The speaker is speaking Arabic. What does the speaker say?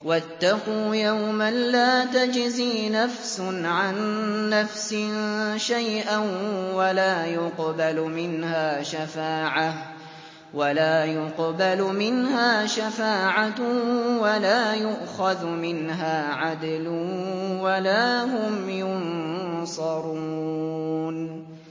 وَاتَّقُوا يَوْمًا لَّا تَجْزِي نَفْسٌ عَن نَّفْسٍ شَيْئًا وَلَا يُقْبَلُ مِنْهَا شَفَاعَةٌ وَلَا يُؤْخَذُ مِنْهَا عَدْلٌ وَلَا هُمْ يُنصَرُونَ